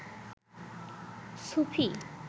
সুফি